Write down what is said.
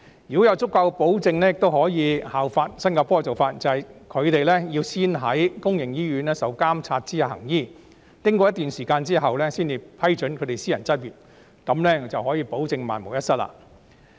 如果要有足夠保證，也可以效法新加坡的做法，即是海外醫生要先到公營醫院在監察下行醫，經過一段時間之後，才批准他們私人執業，這樣便可以保證萬無一失。